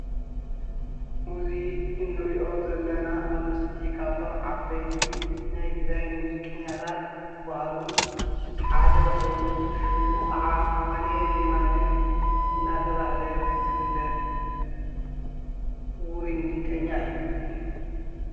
እዚ እንርእዮ ዘለና ኣብ ምስሊ ካብቶም ዓበይቲ ናይ ትግራይ ሙዚቀኛታት ዝባሃሉ ሓደ ኮይኑ ሽሙ ከዓ ኣማኒኤል የማነ አንዳተባሃለ ዝፍለጥ ውሩይ ሙዚቀኛ እዩ።